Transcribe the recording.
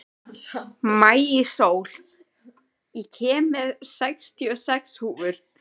Maísól, ég kom með sextíu og sex húfur!